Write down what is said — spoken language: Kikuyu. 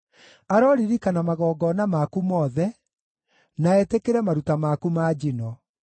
Aroririkana magongona maku mothe, na etĩkĩre maruta maku ma njino.